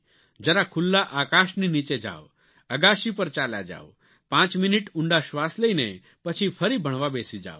જરા ખુલ્લા આકાશની નીચે જાવ અગાશી પર ચાલ્યા જાવ પાંચ મિનિટ ઊંડા શ્વાસ લઇને પછી ફરી ભણવા બેસી જાવ